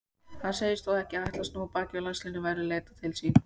Hann segist þó ekki ætla að snúa baki við landsliðinu verði leitað til sín.